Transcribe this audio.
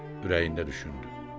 Ürəyində düşündü.